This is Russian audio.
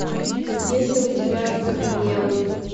есть ли у тебя оцепенелый